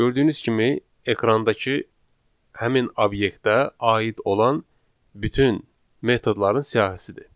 Gördüyünüz kimi ekrandakı həmin obyektə aid olan bütün metodların siyahısıdır.